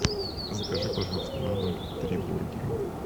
закажи пожалуйста на дом три бургера